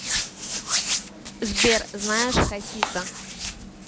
сбер знаешь хасиса